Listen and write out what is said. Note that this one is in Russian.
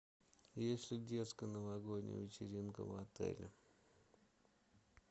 есть ли детская новогодняя вечеринка в отеле